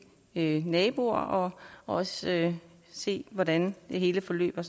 naboer og også se hvordan det hele forløber